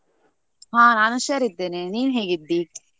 ಹಾ ನಾನು ಹುಷಾರ್ ಇದ್ದೇನೆ, ನೀನ್ ಹೇಗಿದ್ದಿ?